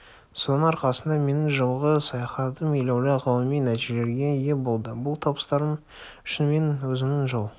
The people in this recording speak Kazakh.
соның арқасында менің жылғы саяхатым елеулі ғылыми нәтижелерге ие болды бұл табыстарым үшін мен өзімнің жол